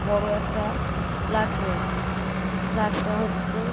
বড়ো একটা ফ্লাট রয়েছে। ফ্লাট - টা হচ্ছে --